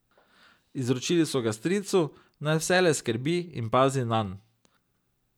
Izročili so ga stricu, naj vselej skrbi in pazi nanj.